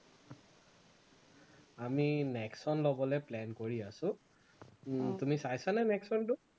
আমি নেক্সন লবলে plan কৰি আছো, উম তুমি চাইছা নে নেক্সনটো